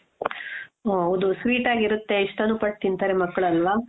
ಓಹ್ ಹೌದು sweet ಆಗಿರುತ್ತೆ ಇಷ್ಟಾನು ಪಟ್ಟ್ ತಿಂತಾರೆ ಮಕ್ಕಳು ಅಲ್ವಾ?